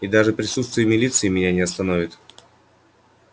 и даже присутствие милиции меня не остановит